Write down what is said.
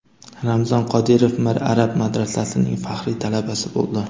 Ramzan Qodirov Mir Arab madrasasining faxriy talabasi bo‘ldi.